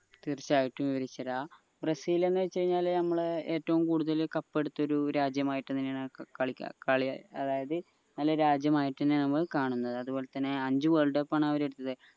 തീർച്ചയായിട്ടും വിവരിച്ചു തരാ ബ്രസീൽ എന്ന് വെച് കഴിഞ്ഞ ഞമ്മളെ ഏറ്റവും കൂടുതൽ cup എടുത്ത ഒരു രാജ്യമായിട്ടാണ് അതായത് രാജ്യമായിട്ടെന്യ ഞമ്മള് കാണുന്നെ അത്പോലെ തന്നെ അഞ്ചു word cup ആൺ അവര്